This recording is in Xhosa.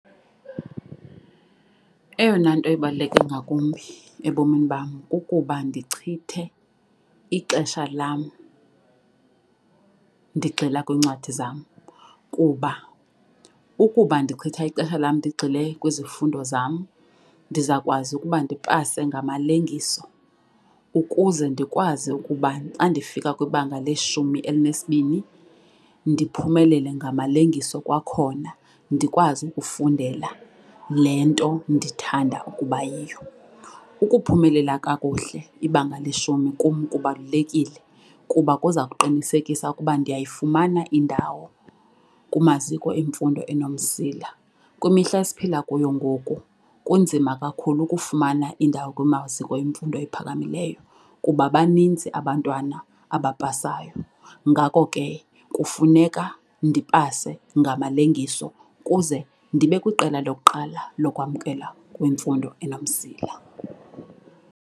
Eyona nto ebaluleke ngakumbi ebomini bam kukuba ndichithe ixesha lam ndigxila kwiincwadi zam kuba ukuba ndichitha ixesha lam ndigxile kwizifundo zam ndizawukwazi ukuba ndipase ngamalengiso. Ukuze ndikwazi ukuba xa ndifika kwibanga leshumi elinesibini ndiphumelele ngamalengiso kwakhona ndikwazi ukufundela le nto ndithanda ukuba yiyo. Ukuphumelela kakuhle ibanga leshumi kum kubalulekile kuba kuza kuqinisekisa ukuba ndiyayifumana indawo kumaziko emfundo enomsila. Kwimihla esiphila kuyo ngoku kunzima kakhulu ukufumana indawo kumaziko emfundo ephakamileyo kuba baninzi abantwana abapasayo. Ngako ke kufuneka ndipase ngamalengiso ukuze ndibe kwiqela lokuqala lokwamkelwa kwimfundo enomsila.